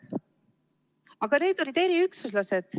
Aga need olid eriüksuslased.